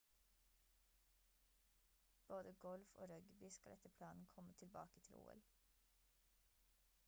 både golf og rugby skal etter planen komme tilbake til ol